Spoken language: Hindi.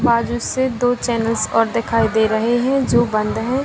बाजू से दो चैनल्स और दिखाई दे रहे हैं जो बंद है।